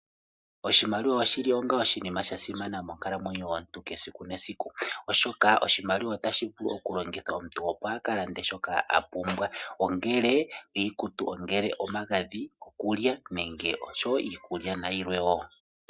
Oshimaliwa oshili onga oshinima sha simana monkalamwenyo yomuntu yesiku nesiku. Oshoka oshimaliwa otashi vulu okulongithwa omuntu opo a kalande shoka a pumbwa ongele iikutu, ongele omagadhi gokulya oshowo iikulya nayilwe wo.